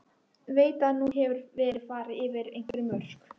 Veit að nú hefur verið farið yfir einhver mörk.